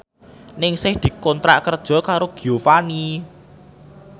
Ningsih dikontrak kerja karo Giovanni